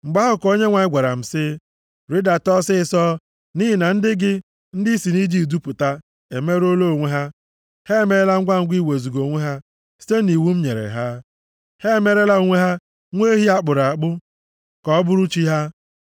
Mgbe ahụ ka Onyenwe anyị gwara m sị m, “Rịdata ọsịịsọ, nʼihi na ndị gị, ndị i si nʼIjipt dupụta, emerụọla onwe ha, ha emeela ngwangwa iwezuga onwe ha site nʼiwu m nyere ha. Ha emeerela onwe ha nwa ehi a kpụrụ akpụ, ka ọ bụrụ chi ha.”